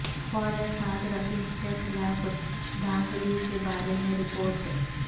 خواجہ سعد رفیق کے خلاف دھاندلی کے بارے میں رپورٹ